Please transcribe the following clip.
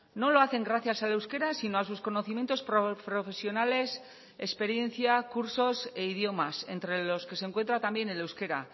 no lo hacen gracias al euskera sino a sus conocimientos profesionales experiencia cursos e idiomas entre los que se encuentra también el euskera